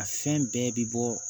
A fɛn bɛɛ bi bɔ